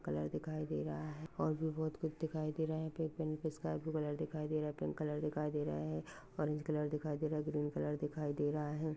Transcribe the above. Colour दिखाई दे रहा है और भी बहोत कुछ दिखाई दे रहा है यहा पे पेन्ट भी स्काय ब्लू कलर दिखाई दे रहा है पिंक कलर दिखाई दे रहा है ऑरेंज कलर दिखाई दे रहा है ग्रीन कलर दिखाई दे रहा है।